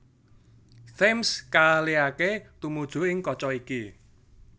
Thames kaalihaké tumuju kaca iki